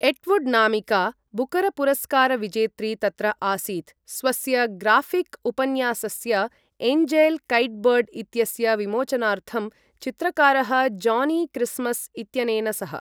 Atwood नामिका बुकरपुरस्कारविजेत्री तत्र आसीत् स्वस्य ग्राफिक उपन्यासस्य एन्जेल् कैटबर्ड् इत्यस्य विमोचनार्थं, चित्रकारः जॉनी क्रिसमस इत्यनेन सह ।